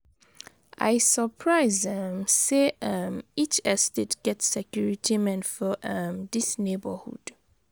I surprise um sey um each estate get security men for um dis neighborhood.